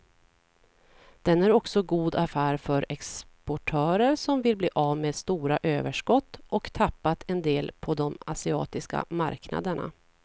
Den är också god affär för exportörer som vill bli av med stora överskott och tappat en del på de asiatiska marknaderna.